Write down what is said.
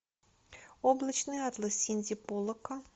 облачный атлас синди поллака